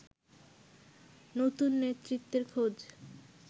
নতুন নেতৃত্বের খোজ